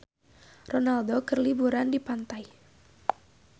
Ronaldo keur liburan di pantai